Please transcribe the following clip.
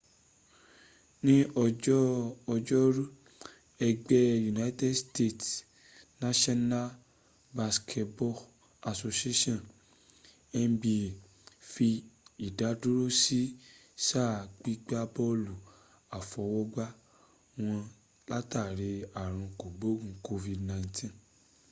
ní ọjọ́ ọjọ́rú ẹgbẹ́ united states' national basketball association nba fi ìdádúró sí sáà gbígbá bọ́ọ̀lù àfọwọ́gbá wọn látàrí ààrùn kògbóògun covid-19